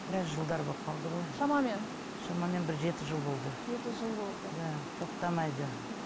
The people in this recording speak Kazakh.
біраз жылдар болып қалды ғой шамамен шамамен бір жеті жыл болды жеті жыл болды да тоқтамайды мхм